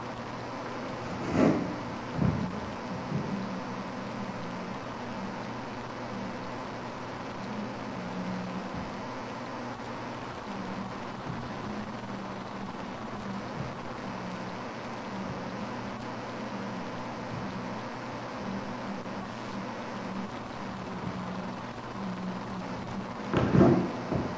Qodu koatte, loonsanni garino baxxinoho lekka fuge diamadanote fananchote ise loonsonnihu saadate goginiti gereewu goga ikka dandaano seeda diro horo aa danditanote moola baattora qodhiniro.